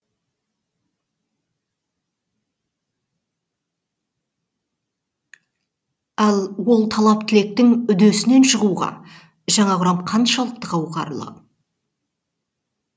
ал ол талап тілектің үдесінен шығуға жаңа құрам қаншалықты қауқарлы